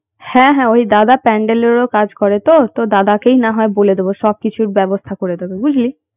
হ্যাঁ হ্যাঁ ঐ দাদা pandel এরও কাজ করে তো তো দাদাকেই না হয় বলে দেবো সবকিছুর ব্যবস্থা করে দেবে বুঝলি